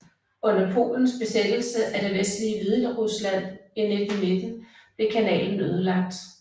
Under polens besættelse af det vestlige Hviderusland i 1919 blev kanalen ødelagt